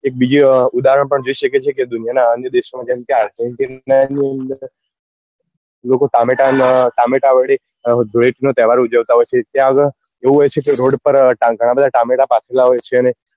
એક બીજું ઉદાહરણ પણ જોઈ શકીએ છીએ કે દુનિયા નાં અન્ય દેશો માં જેમ કે લોકો ટામેટા વડે ધૂળેટી નો તહેવાર ઉજવતા હોય છે ત્યાં આગળ એવું હોય છે કે રોડ ઉપર ગણા બધા ટામેટા પાથરેલા હોય છે ને